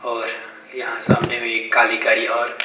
और यहां सामने भी एक काली गाड़ी और--